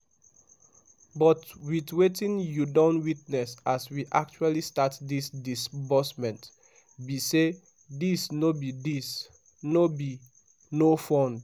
"but wit wetin you don witness as we actually start dis disbursment be say dis no dis no be 'no fund'.